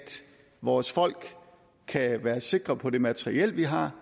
vores folk kan være sikre på det materiel vi har